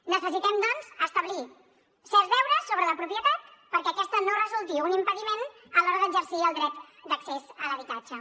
necessitem doncs establir certs deures sobre la propietat perquè aquesta no resulti un impediment a l’hora d’exercir el dret d’accés a l’habitatge